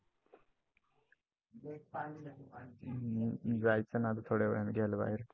जायचंय ना आता थोड्या वेळाने घ्यायला बाहेर.